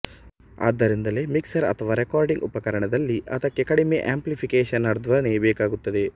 ಆದ್ದರಿಂದಲೇ ಮಿಕ್ಸರ್ ಅಥವಾ ರೆಕಾರ್ಡಿಂಗ್ ಉಪಕರಣದಲ್ಲಿ ಅದಕ್ಕೆ ಕಡಿಮೆ ಆಂಪ್ಲಿಫಿಕೇಶನ್ವರ್ಧನೆ ಬೇಕಾಗುತ್ತದೆ